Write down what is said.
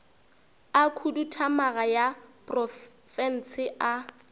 a khuduthamaga ya profense a